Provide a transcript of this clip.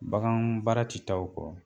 Bagan baara ti taa o kɔ